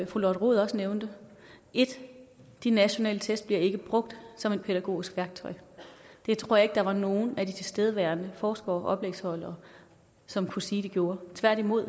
fru lotte rod også nævnte 1 de nationale test bliver ikke brugt som et pædagogisk værktøj det tror jeg ikke der var nogen af de tilstedeværende forskere og oplægsholdere som kunne sige at de gjorde tværtimod